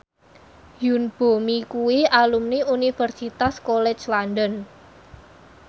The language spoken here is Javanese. Yoon Bomi kuwi alumni Universitas College London